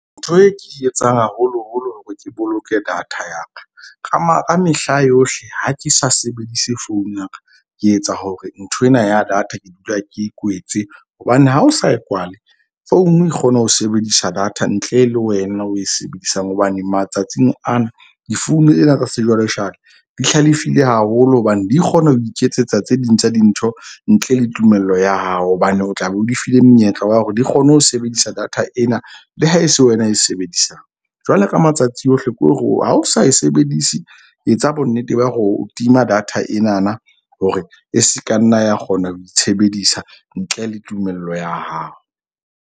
Ntho e ke etsang haholoholo hore ke boloke data ya ka ka ka mehla yohle. Ha ke sa sebedise phone ya ka, ke etsa hore nthwena ya data ke dula ke kwetse. Hobane ha o sa e kwale phone e kgona ho sebedisa data ntle le wena o e sebedisang. Hobane matsatsing ana di-phone tsena tsa sejwalejale di hlalefile haholo. Hobane di kgona ho iketsetsa tse ding tsa dintho ntle le tumello ya hao. Hobane o tlabe, o di file monyetla wa hore di kgone ho sebedisa data ena le ha e se wena e sebedisang. Jwale ka matsatsi ohle ko re o ha o sa e sebedise, etsa bonnete ba hore o tima data enana hore e se ka nna ya kgona ho itshebedisetsa ntle le tumello ya hao.